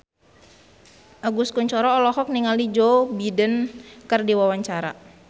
Agus Kuncoro olohok ningali Joe Biden keur diwawancara